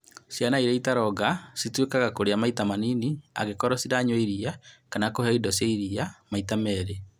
Ciana iria citaronga cituĩkaga kũrĩa maita manini angĩkorũo ciranyua iria kana kũheo indo cia iria maita meerĩ